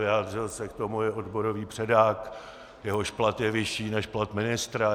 Vyjádřil se k tomu i odborový předák, jehož plat je vyšší než plat ministra.